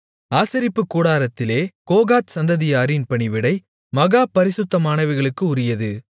ஆசரிப்புக் கூடாரத்திலே கோகாத் சந்ததியாரின் பணிவிடை மகா பரிசுத்தமானவைகளுக்கு உரியது